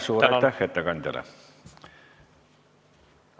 Suur aitäh ettekandjale!